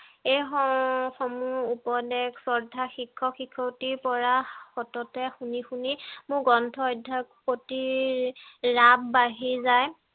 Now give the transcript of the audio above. এই হম সমুহ উপদেশ শ্ৰদ্ধা শিক্ষক শিক্ষয়িত্ৰীৰ পৰা সততে শুনি শুনি মোৰ গ্ৰন্থ অধ্যয়নৰ প্ৰতি ৰাপ বাঢ়ি যায়